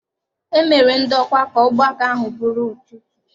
E mere ndokwa ka ọgbakọ ahụ bụrụ ụtụtụ.